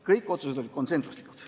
Kõik otsused olid konsensuslikud.